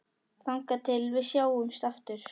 Þangað til við sjáumst aftur.